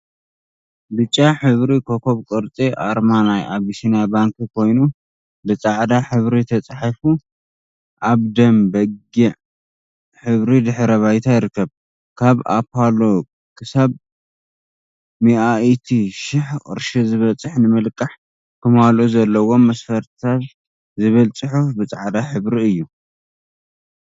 ብጫ ሕብሪ ኮኮብ ቅርጺ ኣርማ ናይ ኣቢሲንያ ባንኪ ኮይኑ ብጻዕዳ ሕብሪ ተጻሒፉ ኣብ ደም በጊዕ ሕብሪ ድሕረ ባይታ ይርከብ። ካብ ኣፓሎ ክሳብ ሚኣኢቲ ሽሕ ቅርሺ ዝበጽሕ ንምልቃሕ ክማልኡ ዘለዎም መስፈርቲታት ዝብል ጽሑፍ ብጻዕዳ ሕብሪ እዩ።